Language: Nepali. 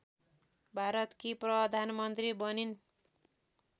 भारतकी प्रधानमन्त्री बनिन्